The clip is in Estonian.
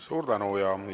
Suur tänu!